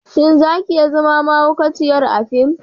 Shin za ki iya zama mahaukaciyar a fim?